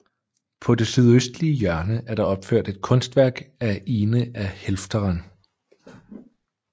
På det sydøstlige hjørne er der opført et kunstværk af Ine af Helfteren